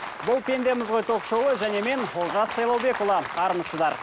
бұл пендеміз ғой ток шоуы және мен олжас сайлаубекұлы армысыздар